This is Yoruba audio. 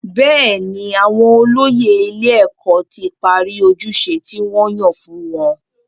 Bẹ́ẹ̀ni, àwọn olóyè ilé-ẹ̀kọ́ ti parí ojúṣe tí wọ́n yàn fún wọn.